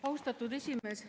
Austatud esimees!